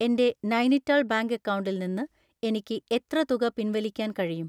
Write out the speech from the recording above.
എൻ്റെ നൈനിത്താൾ ബാങ്ക് അക്കൗണ്ടിൽ നിന്ന് എനിക്ക് എത്ര തുക പിൻവലിക്കാൻ കഴിയും?